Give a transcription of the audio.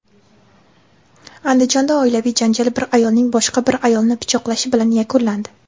Andijonda oilaviy janjal bir ayolning boshqa bir ayolni pichoqlashi bilan yakunlandi.